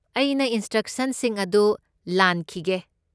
ꯑꯩꯅ ꯏꯟꯁꯇ꯭ꯔꯛꯁꯟꯁꯤꯡ ꯑꯗꯨ ꯂꯥꯟꯈꯤꯗꯦ꯫